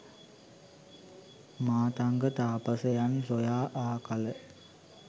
මාතංග තාපසයන් සොයා ආ කල